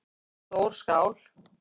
Stór skál